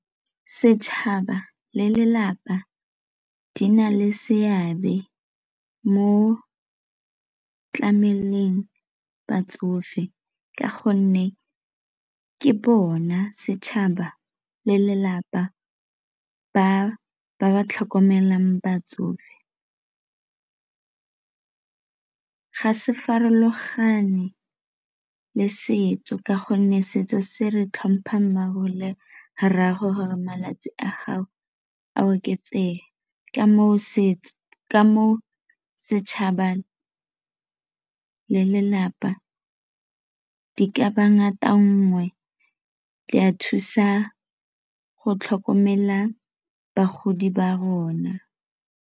Setšhaba le lelapa di na le seabe mo tlameleng batsofe ka gonne ke bona setšhaba le lelapa ba ba tlhokomelang batsofe. Ga se farologane le setso ka gonne setso se re tlhompha mma'go le rra'ago gore malatsi a gago a oketsega ka matshosetsi ka mo setšhabeng le lelapa e ka ba ngata nngwe le a thusa go tlhokomela bagodi ba rona.